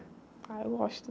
Ah, eu gosto.